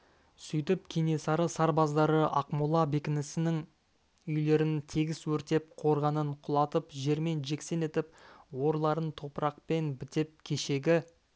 сөйтіп кенесары сарбаздары ақмола бекінісінің үйлерін тегіс өртеп қорғанын құлатып жермен-жексен етіп орларын топырақпен бітеп кешегі